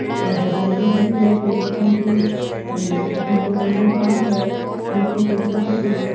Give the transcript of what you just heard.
हरियाली हो रही है पेड़ पोधा की ए अठे रोड एकदम साफ़ है निचे पेड़ पोधा पेड़ पोधा --